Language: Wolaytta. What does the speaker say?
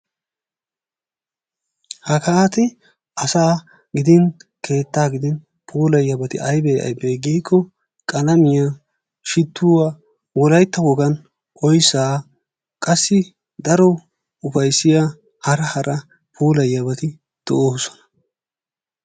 Hageeti asaa gidin keetta gidin puulayiyaabati aybbe aybbe giiko qalamiyaa, shituwaa Wolaytta wogaan oyssa qassi daro ufayssiyaa daro hara puulayiyyabati de'oosona.